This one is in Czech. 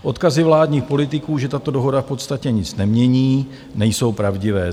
Odkazy vládních politiků, že tato dohoda v podstatě nic nemění, nejsou pravdivé.